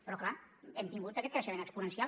però clar hem tingut aquest creixement exponencial